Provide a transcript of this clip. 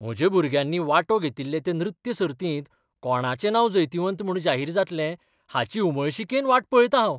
म्हज्या भुरग्यांनी वांटो घेतिल्ले ते नृत्य सर्तींत कोणाचें नांव जैतिवंत म्हूण जाहीर जातलें हाची उमळशिकेन वाट पळयतां हांव.